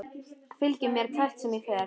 Fylgir mér hvert sem ég fer.